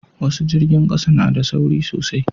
wasu jirgin ƙasa na da sauri sosai